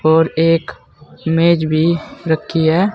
और एक मेज़ भी रखी है।